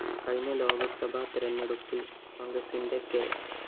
കഴിഞ്ഞ ലോക്‌സഭാ തെരഞ്ഞെടുപ്പില്‍ കോണ്‍ഗ്രസിന്റെ കെ